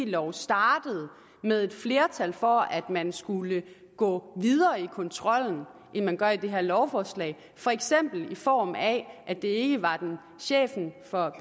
lov startede med et flertal for at man skulle gå videre i kontrollen end man gør i det her lovforslag for eksempel i form af at det ikke var chefen for